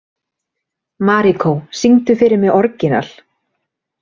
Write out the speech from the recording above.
Maríkó, syngdu fyrir mig „Orginal“.